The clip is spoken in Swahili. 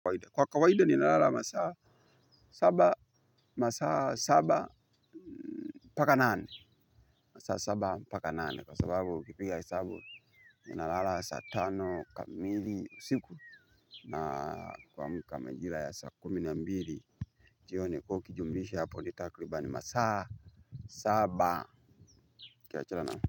Kwa kawaida ni nalala masaa saba, masaa saba mpaka nane, masaa saba mpaka nane kwa sababu ukipiga hesabu ni nalala sa tano kamili usiku na kuamka majira ya saa kumi na mbili jioni ukiijumuisha hapo nitakribani masaa saba ukiachana na.